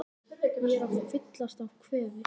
Ég er að fyllast af kvefi.